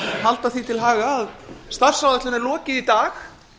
halda því til haga að starfsáætlun er lokið í dag